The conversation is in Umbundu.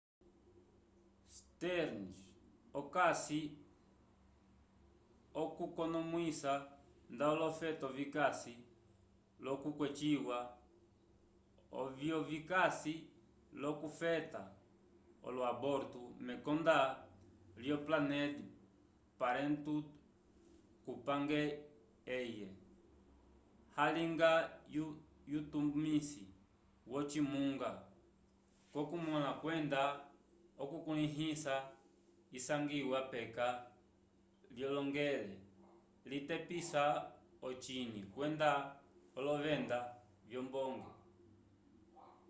stearns okasi okukonomwisa nda olofeto vikasi l'okweciwa ovyo vikasi l'okufeta olo-aborto mekonda lyo planned parenthood kupange eye alinga yutumisi wocimunga cokumõla kwenda okukulĩhisa isangiwa peka lyohongelel litepisa ocinyi kwenda olovenda vyombonge